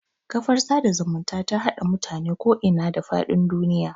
Kafar sada zumunta ta haɗa mutane ku ina da faɗin duniya